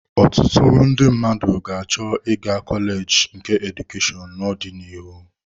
Ọtụtụ ndị mmadụ ga-achọ ịga kọleji nke Edukashonu n'ọdịnihu.